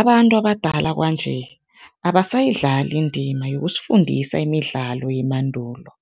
Abantu abadala kwanje abasayidlali indima yokusifundisa imidlalo yemandulo